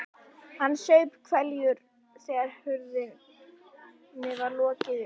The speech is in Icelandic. Hann saup hveljur þegar hurðinni var lokið upp.